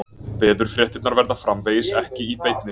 Veðurfréttirnar verða framvegis ekki í beinni